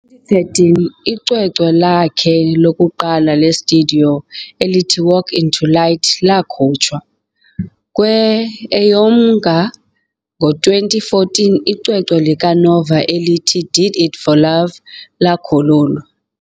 13, icwecwe lakhe lokuqala lestudiyo elithi Walk Into Light lakhutshwa. Kwe'EyomNnga ngo 2014, icwecwe likaNova elithi Did It For Love lakhululwa.